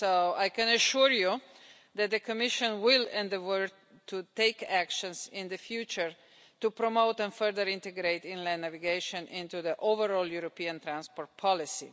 I can assure you that the Commission will, in its work, take actions in the future to promote and further integrate inland navigation into the overall European transport policy.